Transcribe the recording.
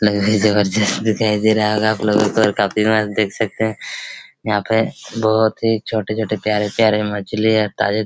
लग रहा हैं जबरदस्त दिखाई दे रहा होगा आप लोगों को और काफ़ी मस्त देख सकते हैं यहाँ पे बहोत ही छोटे-छोटे प्यारे-प्यारे मछली हैं ताजे--